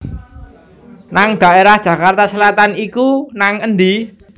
nang daerah Jakarta Selatan iku nang endi?